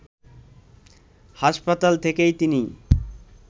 হাসপাতাল থেকেই তিনি